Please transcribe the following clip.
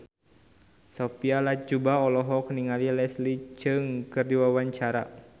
Sophia Latjuba olohok ningali Leslie Cheung keur diwawancara